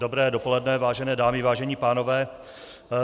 Dobré dopoledne, vážené dámy, vážení pánové.